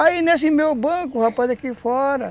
Aí nesse banco, o rapaz aqui fora.